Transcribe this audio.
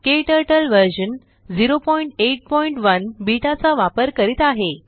क्टर्टल version 081 beta चा वापर करीत आहे